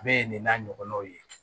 Bɛɛ ye nin n'a ɲɔgɔnnaw ye